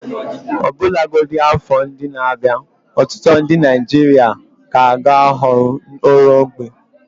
Ọbụlagodi afọ ndị na-abịa, ọtụtụ ndị Naijiria ka ga-ahọrọ nri ógbè.